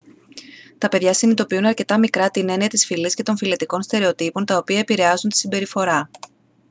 τα παιδιά συνειδητοποιούν αρκετά μικρά την έννοια της φυλής και των φυλετικών στερεοτύπων τα οποία επηρεάζουν τη συμπεριφορά